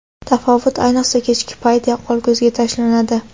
Tafovut ayniqsa kechki payt yaqqol ko‘zga tashlanadi.